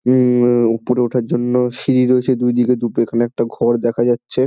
উম উ উপরে ওঠার জন্য সিঁড়ি রয়েছে দুই দিকে দুটো এখানে একটা ঘর দেখা যাচ্ছে।